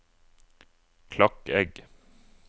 Klakegg